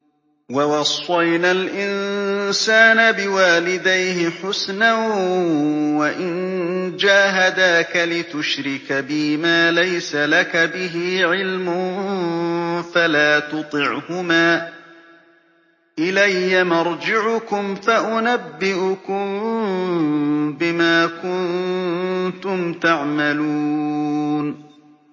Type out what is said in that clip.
وَوَصَّيْنَا الْإِنسَانَ بِوَالِدَيْهِ حُسْنًا ۖ وَإِن جَاهَدَاكَ لِتُشْرِكَ بِي مَا لَيْسَ لَكَ بِهِ عِلْمٌ فَلَا تُطِعْهُمَا ۚ إِلَيَّ مَرْجِعُكُمْ فَأُنَبِّئُكُم بِمَا كُنتُمْ تَعْمَلُونَ